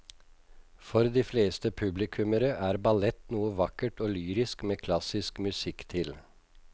For de fleste publikummere er ballett noe vakkert og lyrisk med klassisk musikk til.